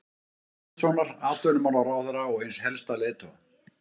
Guðmundssonar, atvinnumálaráðherra og eins helsta leiðtoga